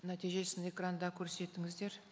нәтижесін экранда көрсетіңіздер